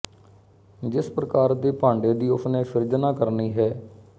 ਜਿਸ ਪ੍ਰਕਾਰ ਦੇ ਭਾਂਡੇ ਦੀ ਉਸ ਨੇ ਸਿਰਜਣਾ ਕਰਨੀ ਹੈ